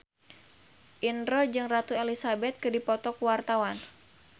Indro jeung Ratu Elizabeth keur dipoto ku wartawan